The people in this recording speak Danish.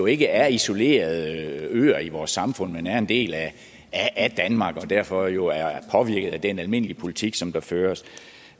ikke er isolerede øer i vores samfund men er en del af danmark og derfor jo er påvirket af den almindelige politik som der føres